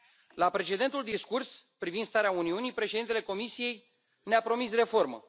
La precedentul discurs privind starea Uniunii, președintele Comisiei ne a promis reformă.